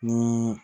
Ni